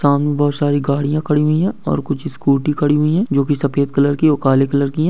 सामने बहुत सारी गाडिया खड़ी हुई है और कुछ स्कूटी खड़ी हुई है जोकि सफ़ेद कलर की और काले कलर की है।